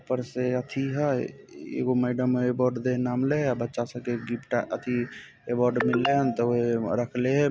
ऊपर से अत्ति एह यह मेडम इ बोर्ड के नाम लेय यह बच्चा स्टे गिफ्ट अति एवोर्ड मिले तो रखलिय